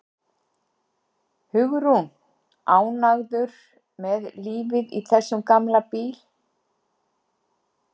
Hugrún: Ánægður með lífið í þessum gamla bíl?